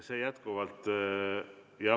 See jätkuvalt ...